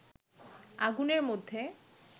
আগুনের মধ্যে